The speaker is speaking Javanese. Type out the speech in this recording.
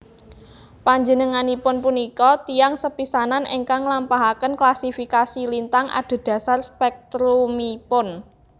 Panjenenganipun punika tiyang sepisanan ingkang nglampahaken klasifikasi lintang adhedhasar spèktrumipun